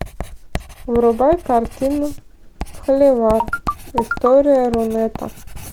врубай картину холивар история рунета